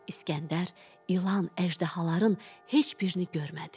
İsgəndər ilan, əjdahaların heç birini görmədi.